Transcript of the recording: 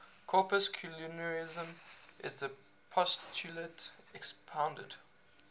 corpuscularianism is the postulate expounded